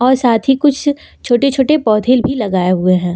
और साथ ही कुछ छोटे छोटे पौधे भी लगाए हुए हैं।